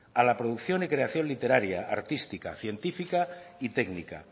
a la producción y creación literaria artística científica y técnica